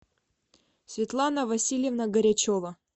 светлана васильевна горячова